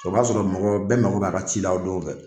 O b'a sɔrɔ mɔgɔ bɛ mago b'a ka ci la o donw fɛ.